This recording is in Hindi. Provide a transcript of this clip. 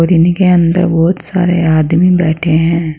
जिनके अंदर बहुत सारे आदमी बैठे हैं।